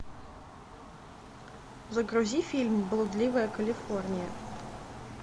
загрузи фильм блудливая калифорния